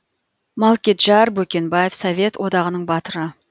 малкеджар бөкенбаев совет одағының батыры